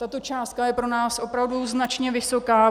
Tato částka je pro nás opravdu značně vysoká.